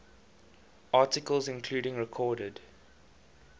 articles including recorded